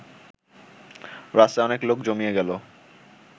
রাস্তায় অনেক লোক জমিয়া গেল